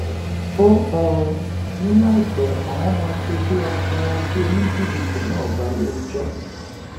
ó um ní láìpẹ àwọn máa fojú àfúráṣí oníjìbìtì náà balẹẹjọ